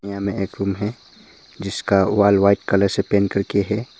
यहां में एक रूम है जिसका वॉल व्हाइट कलर से पेंट करके है।